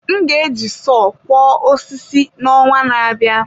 M ga-eji sọọ kwo osisi n’ọnwa na-abịa.